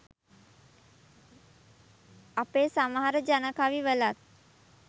අපේ සමහර ජන කවි වලත්